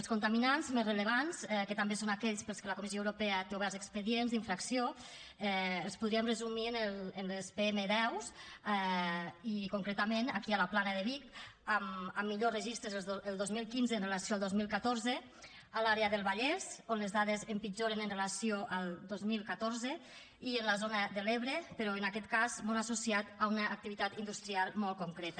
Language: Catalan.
els contaminants més rellevants que també són aquests per als quals la comissió europea té oberts expedients d’infracció es podrien resumir en les pm10 i concretament aquí a la plana de vic amb millors registres els de dos mil quinze amb relació al dos mil catorze a l’àrea del vallès on les dades empitjoren amb relació al dos mil catorze i a la zona de l’ebre però en aquest cas molt associat a una activitat industrial molt concreta